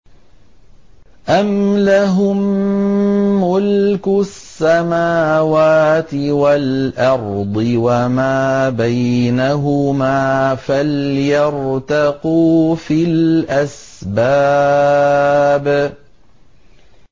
أَمْ لَهُم مُّلْكُ السَّمَاوَاتِ وَالْأَرْضِ وَمَا بَيْنَهُمَا ۖ فَلْيَرْتَقُوا فِي الْأَسْبَابِ